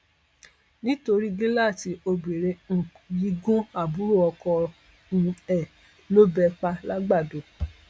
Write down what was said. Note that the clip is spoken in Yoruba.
nítorí gíláàsì obìnrin um yìí gun àbúrò oko um ẹ lọbẹ pa làgbàdo